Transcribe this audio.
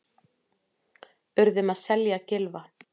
Urðum að selja Gylfa